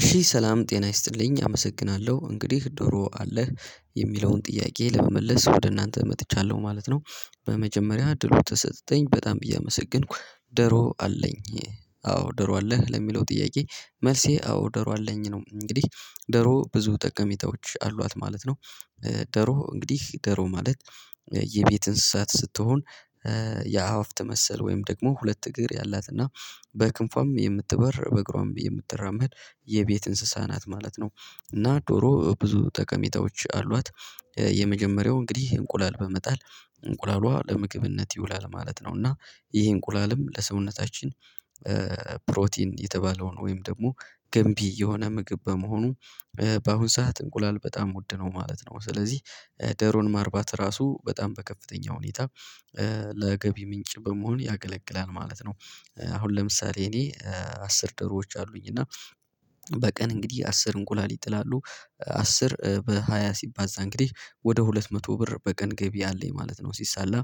እሺ ሰላም ጤና ይስጥልኝ አመሰግናለሁ እንግዲህ ዶሮ አለህ የሚለውን ጥያቄ ለመመለስ ወደ እናንተ መጥቻለሁ ማለት ነው። በመጀመሪያ እድሉ ስለተሰጠተኝ በጣም ብዬ አመሰገንኩ ደሮ አለኝ አዎ ዶሮ አለህ ለሚለው ጥያቄ? መልሴ አዎ ዶሮ አለኝ ነው እንግዲህ። ዶሮ ብዙ ጠቀሚታዎች አሏት ማለት ነው። ዶሮ እንግዲህ ዶሮ ማለት የቤት እንስሳት ስትሆን የአዋፍ ትመሰል ወይም ደግሞ ሁለት እግር ያላትና በክንፏም የምትበር በእግሯም የምትራመድ የቤት እንስሳ ናት ማለት ነው። እና ዶሮ ብዙ ጠቀሚታዎች አሏት። የመጀመሪያው እንግዲህ እንቁላል በመጣል እንቁላሏ ለምግብነት ይውላል ማለት ነው። እና ይህ እንቁላልም ለሰውነታችን ፕሮቲን የተባለውን ወይም ደግሞ ገንቢ የሆነ ምግብ በመሆኑ በአሁን ሰዓት እንቁላል በጣም ውድነው ማለት ነው። ስለዚህ ዶሮን ማርባት ራሱ በጣም በከፍተኛ ሁኔታ ለገቢ ምንጭ በመሆን ያገለግላል ማለት ነው። አሁን ለምሳሌ እኔ አስር ዶሮዎች አሉኝ እና በቀን እንግዲህ አስር እንቁላል ይጥላሉ። አስር በሃያ ሲባዛ እንግዲህ ወደ ሁለት መቶ ብር በቀን ገቢ አለኝ ማለት ነው። ሲሳላ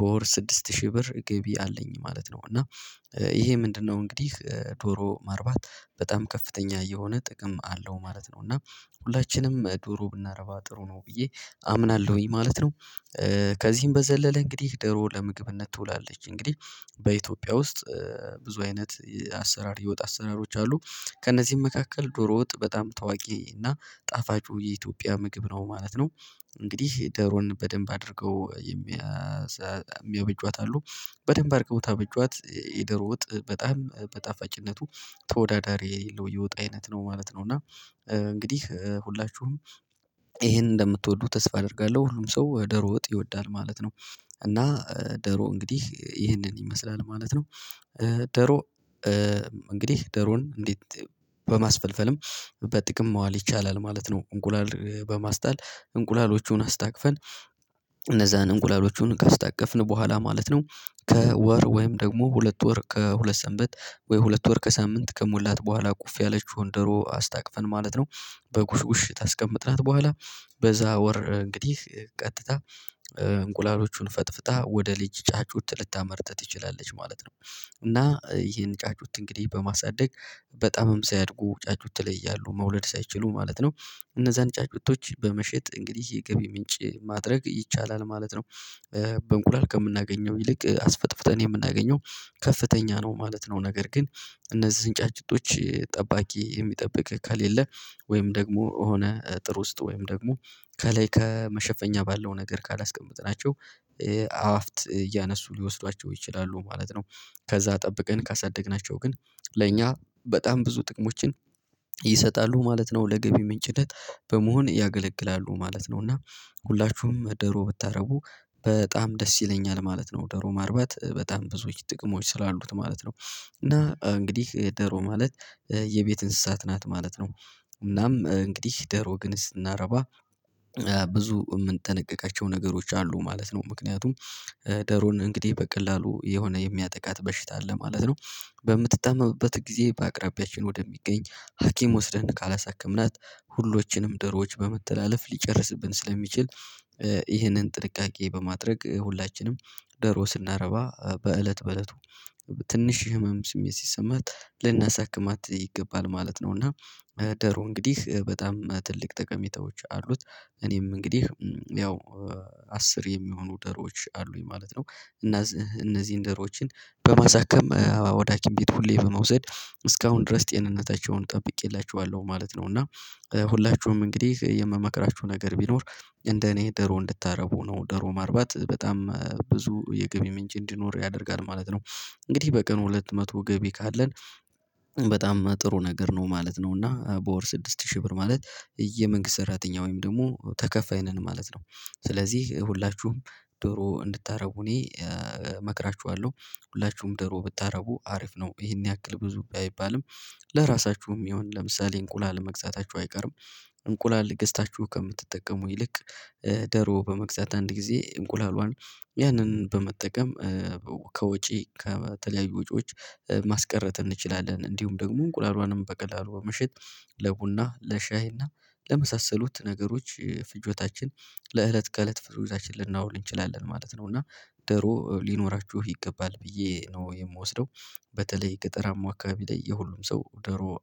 በወር ስድስት ሺህ ብር ገቢ አለኝ ማለት ነው። እና ይሄ ምንድነው? እንግዲህ ዶሮ ማርባት በጣም ከፍተኛ የሆነ ጥቅም አለው ማለት ነው። እና ሁላችንም ዶሮ ብናረባ ጥሩ ነው ብዬ አምናለሁኝ ማለት ነው። ከዚህም በዘለለ እንግዲህ ደሮ ለምግብነት ትውላለች እንግዲህ በኢትዮጵያ ውስጥ ብዙ አይነት አሰራር የወጣ አሰራሮች አሉ። ከእነዚህም መካከል ዶሮ ወጥ በጣም ታዋቂ እና ጣፋጩ የኢትዮጵያ ምግብ ነው ማለት ነው። እንግዲህ ዶሮን በደንብ አድርገው የሚያስ የሚያበጇት አሉ በደንብ አድርገው ታበጇት የዶሮ ወጥ በጣም በጣፋጭነቱ ተወዳዳሪ የሌለው የወጥ አይነት ነው ማለት ነው። እና እንግዲህ ሁላችሁም ይሄን እንደምትወዱ ተስፋ አደርጋለሁ ሁሉም ሰው ዶሮ ወጥ ይወዳል ማለት ነው። እና ዶሮ እንግዲህ ይህንን ይመስላል ማለት ነው። ዶሮ እንግዲህ ዶሮን እንዴት? በማስፈልፈልም በጥቅም መዋል ይቻላል ማለት ነው። እንቁላል በማስጣል እንቁላሎቹን አስታቅፈን እነዛን እንቁላሎቹን ካስታቀፍን በኋላ ማለት ነው። ከወር ወይም ደግሞ ሁለት ወር ከሁለት ሰንበት ወይ ሁለት ወር ከሳምንት ከሞላት በኋላ ቁፍ ያለችውን ዶሮ አስታቅፈን ማለት ነው። በጉሽ ጉሽ ታስቀምጥናት በኋላ በዛ ወር እንግዲህ ቀጥታ እንቁላሎቹን ፈጥፍጣ ወደ ልጅ ጫጩት ልታመርት ትችላለች ማለት ነው። እና ይሄን ጫጩት እንግዲህ በማሳደግ በጣምም ሲያድጉ ጫጩት ላይ እያሉ መውለድ ሳይችሉ ማለት ነው እነዛን ጫጩቶች በመሸጥ እንግዲህ የገቢ ምንጭ ማድረግ ይቻላል ማለት ነው። በእንቁላል ከምናገኘው ይልቅ አስፈጥፍጠን የምናገኘው ከፍተኛ ነው ማለት ነው። ነገር ግን እነዚህን ጫጩቶች ጠባቂ የሚጠብቅ ከሌለ ወይም ደግሞ የሆነ ጥሩ ውስጥ ወይም ደግሞ ከላይ ከመሸፈኛ ባለው ነገር ካላስቀመጥናቸው አዋፍት እያነሱ ሊወስዷቸው ይችላሉ ማለት ነው። ከዛ ጠብቀን ካሳደግናቸው ግን ለእኛ በጣም ብዙ ጥቅሞችን ይሰጣሉ ማለት ነው። ለገቢ ምንጭነት በመሆን ያገለግላሉ ማለት ነው። እና ሁላችሁም ዶሮ ብታደርጉ በጣም ደስ ይለኛል ማለት ነው ዶሮ ማርባት በጣም ብዙዎች ጥቅሞች ስላሉት ማለት ነው። እና እንግዲህ ዶሮ ማለት የቤት እንስሳት ናት ማለት ነው። እናም እንግዲህ ዶሮ ግን ስናረባ ብዙ የምንጠነቅቃቸው ነገሮች አሉ ማለት ነው። ምክንያቱም ዶሮን እንግዲህ በቀላሉ የሆነ የሚያጠቃት በሽታ አለ ማለት ነው። በምትታመምበት ጊዜ በአቅራቢያችን ወደሚገኝ ሀኪም ወስደን ካላሳከምናት ሁሎችንም ዶሮዎች በመተላለፍ ሊጨርስብን ስለሚችል ይህንን ጥንቃቄ በማድረግ ሁላችንም ደርዎ ስናረባ በእለት በእለቱ ትንሽ ህመም ስሜት ሲሰማት ልናሳክማት ይገባል ማለት ነው። እና ዶሮ እንግዲህ በጣም ትልቅ ጠቀሜታዎች አሉት። እኔም እንግዲህ ያው አስር የሚሆኑ ዶሮዎች አሉኝ ማለት ነው። እና እነዚህን ዶሮችን በማሳከም ወደ ሀኪም ቤት ሁሌ በመውሰድ እስካሁን ድረስ ጤንነታቸውን ጠብቄላችኋለሁ ማለት ነው። እና ሁላችሁም እንግዲህ የምመክራችሁ ነገር ቢኖር እንደ እኔ ዶሮ እንድታረቡ ነው ደሮ ማርባት በጣም ብዙ የገቢ ምንጭ እንዲኖር ያደርጋል ማለት ነው። እንግዲህ በቀን ሁለት መቶ ገቢ ካለን በጣም ጥሩ ነገር ነው ማለት ነው። እና በወር ስድስት ሺህ ብር ማለት የመንግስት ሰራተኛ ወይም ደግሞ ተከፋይ ነን ማለት ነው። ስለዚህ ሁላችሁም ዶሮ እንድታደርጉ እኔ እመክራችኋለሁ። ሁላችሁም ደሮ ብታደርጉ አሪፍ ነው ይሄን ያክል ብዙ ባይባልም ለራሳችሁም ይሁን ለምሳሌ እንቁላል መግዛታችሁ አይቀርም። እንቁላል ገዝታችሁ ከምትጠቀሙ ይልቅ ዶሮ በመግዛት አንድ ጊዜ እንቁላሏን ያንን በመጠቀም ከወጪ ከተለያዩ ውጪዎች ማስቀረት እንችላለን እንዲሁም ደግሞ እንቁላሏንም በቀላሉ በመሽጥ ለቡና ለሻይና ለመሳሰሉት ነገሮች ፍጆታችን ለእለት ከእለት ፍጆታችን ልናውል እንችላለን ማለት ነው። እና ዶሮ ሊኖራችሁ ይገባል ብዬ ነው የምወስደው። በተለይ ገጠራማ አካባቢ ላይ የሁሉም ሰው ደሮ